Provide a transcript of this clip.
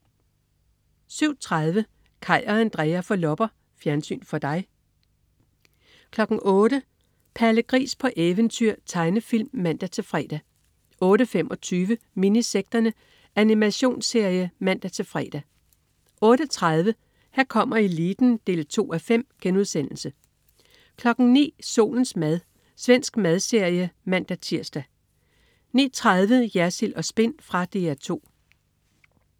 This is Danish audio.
07.30 Kaj og Andrea får lopper. Fjernsyn for dig 08.00 Palle Gris på eventyr. Tegnefilm (man-fre) 08.25 Minisekterne. Animationsserie (man-fre) 08.30 Her kommer eliten 2:5* 09.00 Solens mad. Svensk madserie (man-tirs) 09.30 Jersild & Spin. Fra DR 2